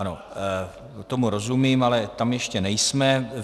Ano, tomu rozumím, ale tam ještě nejsme.